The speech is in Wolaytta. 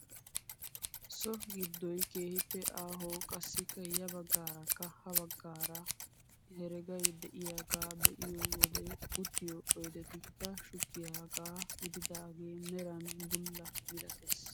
So giddoy keehippe aaho qassikka ya baggaarakka ha baggaara heregay de'iyaagaa be'iyoo wode uttiyoo oydetikka shuggiyaaga gididagee meran bulla milatees.